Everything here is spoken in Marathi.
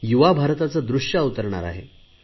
युवा भारताचे दृश्य अवतरणार आहे